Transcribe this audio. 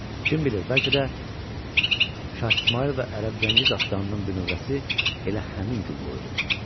Kim bilir, bəlkə də Şah İsmayıl və Ərəbzəngi dastanının bünövrəsi elə həmin gün qoyulub.